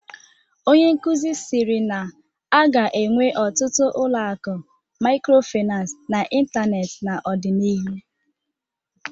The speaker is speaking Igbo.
Onye nkuzi siri na a ga-enwe ọtụtụ ụlọ akụ microfinance n'ịntanetị n'ọdịnihu